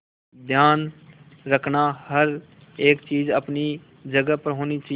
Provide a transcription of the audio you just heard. ध्यान रखना हर एक चीज अपनी जगह पर होनी चाहिए